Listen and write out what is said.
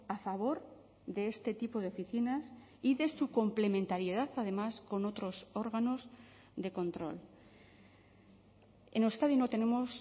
a favor de este tipo de oficinas y de su complementariedad además con otros órganos de control en euskadi no tenemos